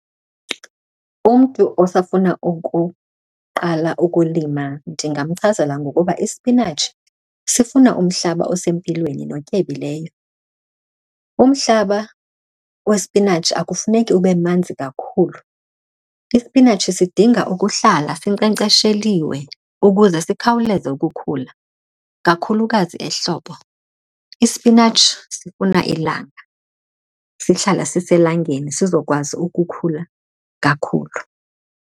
Umntu osafuna ukuqala ukulima ndingamchazela ngokuba ispinatshi sifuna umhlaba osempilweni notyebileyo. Umhlaba wespinatshi akufuneki ube manzi kakhulu. Ispinatshi sidinga ukuhlala sinkcenkcesheliwe ukuze sikhawuleze ukukhula, kakhulukazi ehlobo. Ispinatshi sifuna ilanga, sihlala siselangeni sizokwazi ukukhula kakhulu.